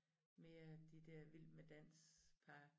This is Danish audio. Mere de dér vild med dans par